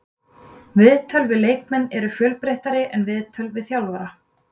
Viðtöl við leikmenn eru fjölbreyttari en viðtöl við þjálfara.